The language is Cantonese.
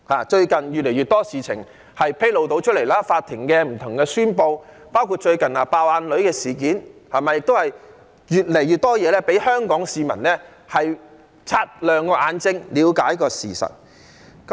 最近越來越多事情被披露，法庭近期不同的宣布，包括最近"爆眼女"的事件，越來越多事情令香港市民擦亮眼睛，了解事實。